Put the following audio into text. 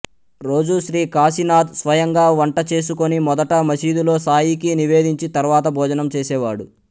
రోజూ శ్రీ కాశీనాథ్ స్వయంగా వంట చేసుకొని మొదట మశీదులో సాయికి నివేదించి తర్వాత భోజనం చేసేవాడు